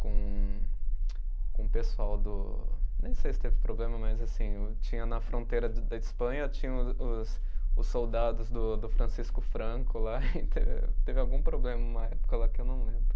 com, com o pessoal do, nem sei se teve problema, mas assim o, tinha na fronteira da Espanha, tinha os os soldados do Francisco Franco lá, e teve algum problema uma época lá que eu não lembro.